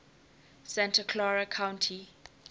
santa clara county